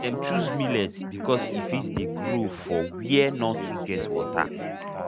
dem chose millet because e fit dey grow for were nor too get water